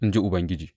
in ji Ubangiji.